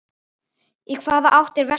Í hvaða átt er vestur?